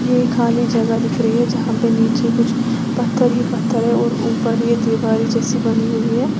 ये खाली जगह दिख रही है जहां पर नीचे कुछ पत्थर ही पत्थर है और ऊपर ये दीवारे जैसी बनी हुई है।